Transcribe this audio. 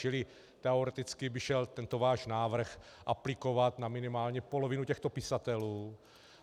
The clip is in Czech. Čili teoreticky by šel tento váš návrh aplikovat na minimálně polovinu těchto pisatelů.